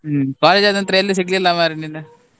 ಹ್ಮ್ college ಆದ ನಂತ್ರ ಎಲ್ಲಿ ಸಿಗ್ಲಿಲ್ಲ ಮಾರ್ರೆ ನೀನು.